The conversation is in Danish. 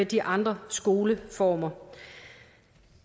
de andre skoleformer